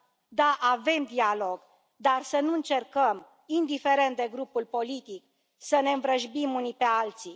Da, avem dialog, dar să nu încercăm, indiferent de grupul politic, să ne învrăjbim unii pe alții.